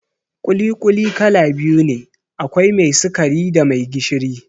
ƙuli-ƙuli kala biyu ne, akwai mai sikari da mai gishiri